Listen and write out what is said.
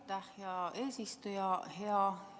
Aitäh, hea eesistuja!